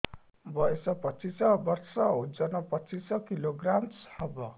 ବୟସ ପଚିଶ ବର୍ଷ ଓଜନ ପଚିଶ କିଲୋଗ୍ରାମସ ହବ